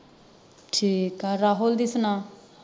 ਠੀਕ ਆ ਰਾਹੁਲ ਦੀ ਸੁਣਾ